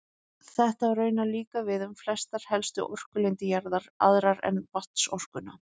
Þetta á raunar líka við um flestar helstu orkulindir jarðar, aðrar en vatnsorkuna.